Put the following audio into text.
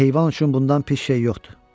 Heyvan üçün bundan pis şey yoxdur.